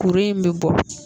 Kuru in bɛ bɔ